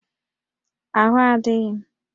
Ahụ adịghị m